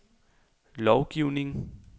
lovgivning